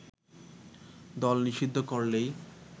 দল নিষিদ্ধ করলেই